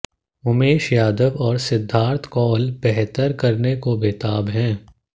उमेश यादव और सिद्धार्थ कौल बेहतर करने को बेताब हैं